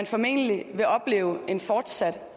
formentlig vil opleve en fortsat